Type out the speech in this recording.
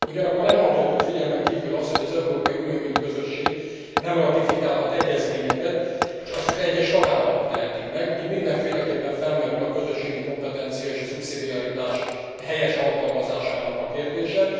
Ugyanakkor nem hagyhatjuk figyelmen kívül azt, hogy az Európai Unió, mint Közösség nem ratifikálhat egyezményeket, s azt csak egyes tagállamok tehetik meg, így mindenféleképpen felmerül a közösségi kompetencia és a szubszidiaritás helyes alkalmazásának a kérdése.